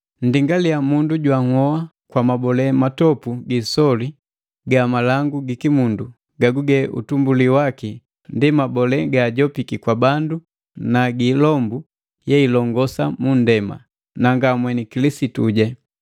Nndingaliya, mundu jwanhoa kwa mabole matopu giisoli ga malangu gikimundu, gaguge utumbuli waki ndi mabole gaajopiki kwa bandu na gi ilombu yeilongosa mu nndema, na nga mweni Kilisitu!